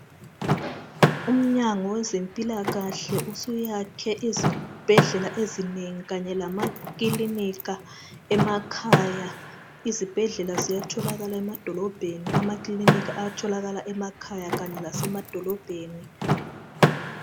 Umnyango wezempilakahle usuyakhe izibhedlela ezinengi kanye lamakilinika emakhaya izibhedlela ziyatholakala emadolobheni amakilinika ayatholakala emakhaya kanye lase madolobheni.